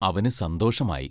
അവനു സന്തോഷമായി.